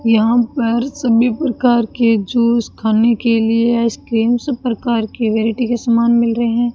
यहां पर सभी प्रकार के जूस खाने के लिए आइसक्रीम सब प्रकार की वैरायटी के समान मिल रहे --